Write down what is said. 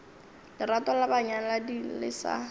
lerato la banyalani le sa